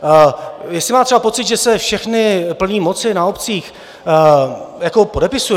Jestli má třeba pocit, že se všechny plné moci na obcích podepisují?